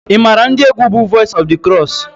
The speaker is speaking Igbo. ị maara ndị egwu bú Voice of the Cross?